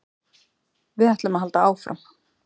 Við ætlum að halda áfram